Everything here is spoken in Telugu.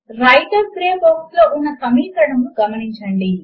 వ్రైటర్ గ్రే బాక్స్ లో ఉన్న సమీకరణమును గమనించండి